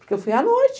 Porque eu fui à noite.